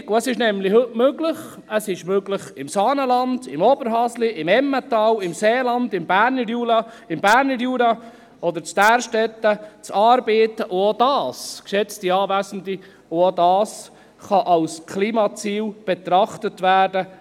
Es ist nämlich heute möglich, im Saanenland, im Oberhasli, im Emmental, im Seeland, im Berner Jura oder in Därstetten zu arbeiten, und auch dies, geschätzte Anwesende, auch dies kann als Klimaziel betrachtet werden.